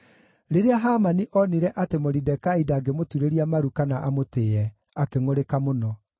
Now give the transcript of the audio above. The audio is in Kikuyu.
Rĩrĩa Hamani onire atĩ Moridekai ndangĩmũturĩria maru kana amũtĩĩe, akĩngʼũrĩka mũno.